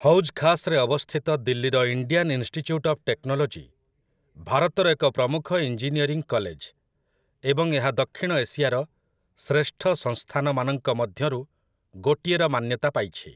ହୌଜ୍ ଖାସ୍‌ରେ ଅବସ୍ଥିତ ଦିଲ୍ଲୀର ଇଣ୍ଡିଆନ୍ ଇନଷ୍ଟିଚ୍ୟୁଟ୍ ଅଫ୍ ଟେକ୍ନୋଲୋଜି ଭାରତର ଏକ ପ୍ରମୁଖ ଇଞ୍ଜିନିୟରିଂ କଲେଜ ଏବଂ ଏହା ଦକ୍ଷିଣ ଏସିଆର ଶ୍ରେଷ୍ଠ ସଂସ୍ଥାନମାନଙ୍କ ମଧ୍ୟରୁ ଗୋଟିଏର ମାନ୍ୟତା ପାଇଛି ।